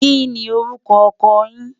kí ní orúkọ ọkọ yín?